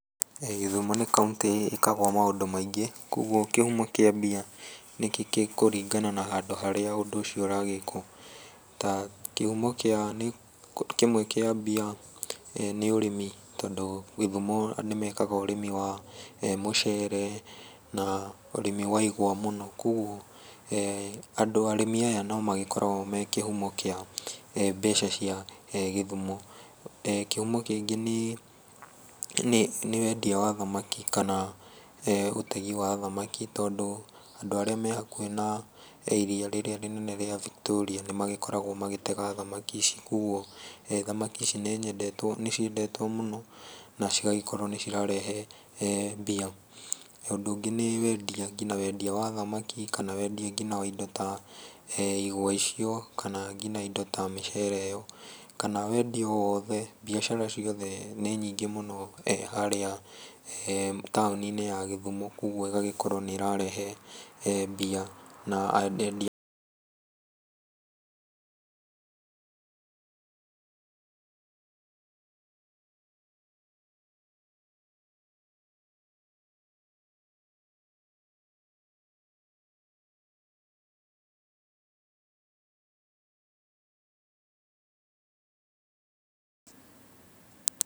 Gĩthumo nĩ kaũntĩ ĩkagwo maũndũ maingĩ. Kogwo kĩhumo kĩa mbia nĩ gĩkũrĩngana na handũ harĩa ũndũ ũcio ũragĩkwo. Ta kĩhumo kĩmwe kĩa mbia nĩ ũrĩmi tondũ Gĩthumo nĩmekaga ũrĩmi wa mucere, na ũrĩmi wa igwa mũno. Kogwo arĩmi aya no makoragwo me kĩhumo kĩa mbeca cia Gĩthumo. Kĩhumo kĩngĩ nĩ wendia wa thamaki kana ũtegi wa thamaki, tondũ andũ arĩa me hakũhĩ na iria rĩrĩa rĩnene rĩa Victoria nĩ magĩkoragwo magĩtega thamaki ici. Koguo thamaki ici nĩ ciendetwo mũno na cigagĩkorwo nĩ cirarehe mbia. Ũndũ ũngĩ nĩ wendia, nginya wendia wa thamaki, kana wendia nginya wa indo ta igwa icio, kana nginya indo ta mĩcere ĩyo, kana wendia o wothe, mbiacara ciothe nĩ nyingĩ mũno harĩa taũni-inĩ ya Gĩthumo. Kogwo ĩgagĩkorwo nĩ ĩrarehe mbia na...